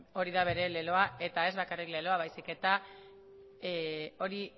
hori da bere leloa eta ez bakarrik leloa baizik eta hori